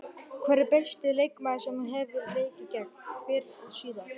Hver er besti leikmaðurinn sem þú hefur leikið gegn, fyrr og síðar?